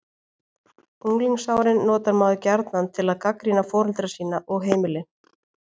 Unglingsárin notar maður gjarnan til að gagnrýna foreldra sína og heimili.